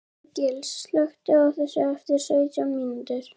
Árgils, slökktu á þessu eftir sautján mínútur.